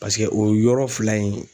Paseke o yɔrɔ fila in